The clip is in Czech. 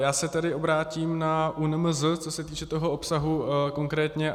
Já se tedy obrátím na ÚNMZ, co se týče toho obsahu konkrétně.